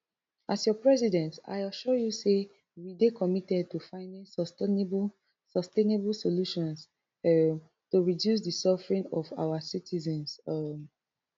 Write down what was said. as your president i assure you say we dey committed to finding sustainable sustainable solutions um to reduce di suffering of our citizens um